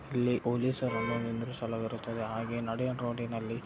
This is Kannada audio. ಇಲ್ಲಿ ಪೊಲೀಸ್ ರನ್ನು ನಿಲಿಸಲಾಗಿರುತ್ತದೆ ಹಾಗೆ ನಡುವಿನ ರೋಡಿನಲ್ಲಿ ---